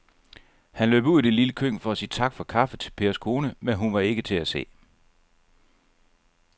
Han løb ud i det lille køkken for at sige tak for kaffe til Pers kone, men hun var ikke til at se.